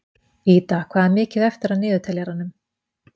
Ida, hvað er mikið eftir af niðurteljaranum?